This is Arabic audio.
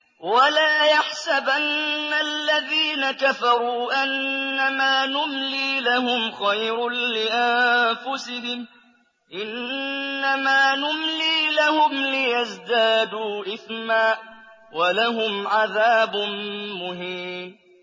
وَلَا يَحْسَبَنَّ الَّذِينَ كَفَرُوا أَنَّمَا نُمْلِي لَهُمْ خَيْرٌ لِّأَنفُسِهِمْ ۚ إِنَّمَا نُمْلِي لَهُمْ لِيَزْدَادُوا إِثْمًا ۚ وَلَهُمْ عَذَابٌ مُّهِينٌ